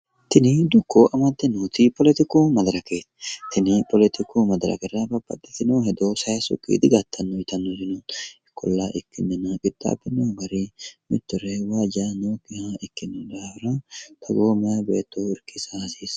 tini dukko amadde nooti poletiku madirake tini poletiku madirakera babbaxitino hedo sayiissukki digattanno hedo no ikkollana ikkinnina qixaabbino garri mittore waajja nookkiha ikkino daafira toogo meya beetto irkisa hasiissanno.